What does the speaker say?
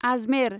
Ajmer